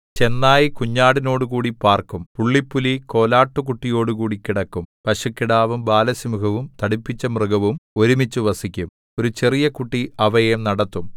ചെന്നായ് കുഞ്ഞാടിനോടുകൂടി പാർക്കും പുള്ളിപ്പുലി കോലാട്ടുകുട്ടിയോടുകൂടി കിടക്കും പശുക്കിടാവും ബാലസിംഹവും തടിപ്പിച്ച മൃഗവും ഒരുമിച്ചു വസിക്കും ഒരു ചെറിയ കുട്ടി അവയെ നടത്തും